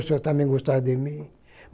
O senhor também gostar de mim.